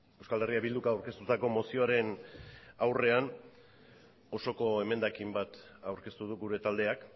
euskal herria bilduk aurkeztutako mozioaren aurrean osoko emendakin bat aurkeztu du gure taldeak